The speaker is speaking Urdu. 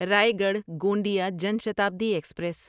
رایگڑھ گونڈیا جان شتابدی ایکسپریس